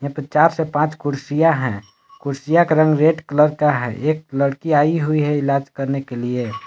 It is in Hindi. चार से पांच कुर्सियां हैं कुर्सियों का रंग रेड कलर का है एक लड़की आई हुई है इलाज करने के लिए।